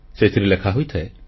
ସେଥିରେ ଲେଖା ହୋଇଥାଏ